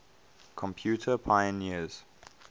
computer pioneers